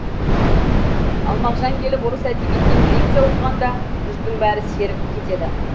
ал мағжан келіп орыс әдебиетінен лекция оқығанда жұрттың бәрі серігіп кетеді